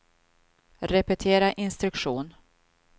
repetera instruktion